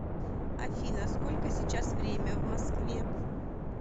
афина сколько сейчас время в москве